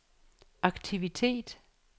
aktivitet